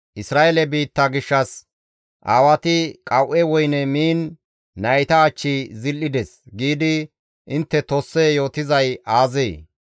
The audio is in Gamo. «Isra7eele biitta gishshas, ‹Aawati qawu7e woyne miin nayta achchi zil7ides› giidi intte tosse yootizay aazee?